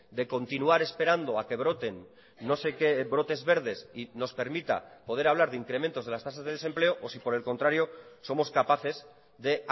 de continuar esperando a que broten no sé qué brotes verdes y nos permita poder hablar de incrementos de las tasas de desempleo o si por el contrario somos capaces de